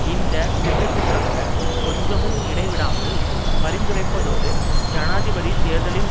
இந்த திட்டத்திற்காக கொஞ்சமும் இடைவிடாமல் பரிந்துரைப்பதோடு ஜனாதிபதி தேர்தலின்